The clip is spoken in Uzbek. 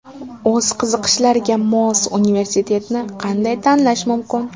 O‘z qiziqishlariga mos universitetni qanday tanlash mumkin?